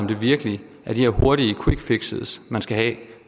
det virkelig er de her hurtige quickfixes man skal have